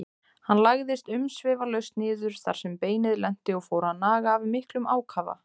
Hann lagðist umsvifalaust niður þar sem beinið lenti og fór að naga af miklum ákafa.